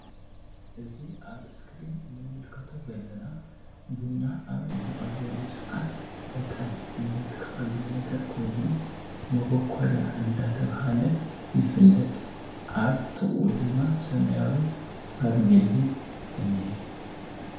እዚ ኣብ እስክሪን እንምልከቶ ዘለና ቡና ኣብ ንቀልወሉ ሰዓት ዕጣን ነትክከሉ ነገር ኮይኑ። ሞበኮርያ አንዳተብሃል ይፍለጥ። ኣብ ጥቅኡ ድማ ሰማያዊ ፋርሜሊ እኒሀ።